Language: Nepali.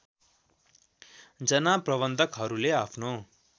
जना प्रबन्धकहरूले आफ्नो